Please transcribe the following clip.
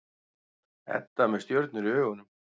Edda með stjörnur í augunum.